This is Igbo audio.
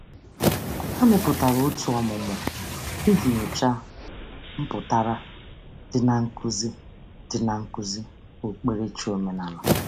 Ha mepụtara òtù ọmụmụ iji nyocha mpụtara dị na nkuzi dị na nkuzi okpukperechi omenala.